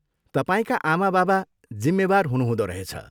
तपाईँका आमाबाबा जिम्मेवार हुनुहुँदो रहेछ।